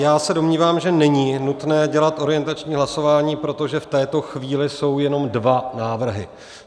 Já se domnívám, že není nutné dělat orientační hlasování, protože v této chvíli jsou jenom dva návrhy.